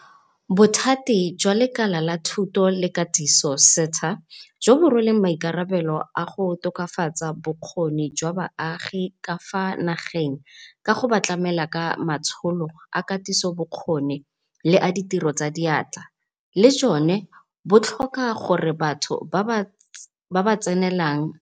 "Bothati jwa Lekala la Thuto le Katiso, SETA, jo bo rweleng maikarabelo a go tokafatsa bokgoni jwa baagi ka fa nageng ka go ba tlamela ka matsholo a katisobokgoni le a ditiro tsa diatla, le jone bo tlhoka gore batho ba ba tsenelang matsholo ano ba nne le marematlou," ga rialo Ngaka Malapile.